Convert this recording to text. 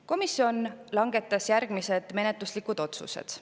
Komisjon langetas järgmised menetluslikud otsused.